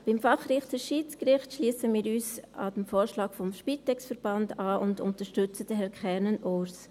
Beim Fachrichter Schiedsgericht schliessen wir uns dem Vorschlag des Verbands Spitex an und unterstützen Herrn Kernen Urs.